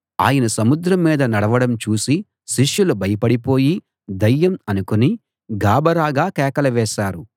ఆయన సముద్రం మీద నడవడం చూసి శిష్యులు భయపడిపోయి దయ్యం అనుకుని గాబరాగా కేకలు వేశారు